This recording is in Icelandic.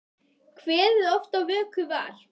Kveðið oft á vöku var.